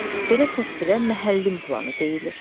Belə təsvirə məhəllim planı deyilir.